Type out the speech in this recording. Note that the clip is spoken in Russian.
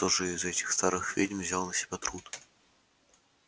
кто же из этих старых ведьм взял на себя труд